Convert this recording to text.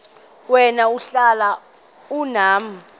wena uhlel unam